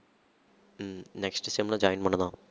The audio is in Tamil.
ஹம் next sem ல join பண்ணுதாம்